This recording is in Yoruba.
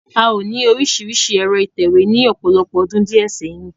A o ní orísirísi ẹ̀rọ ìtẹ̀wé ní ọ̀pọ̀lọpọ̀ ọdún diẹ sẹ́yìn.